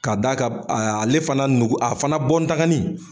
Ka da kan ale fana nogo a fana bɔndagani